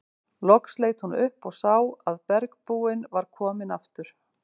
Loks leit hún upp og sá að bergbúinn var kominn aftur.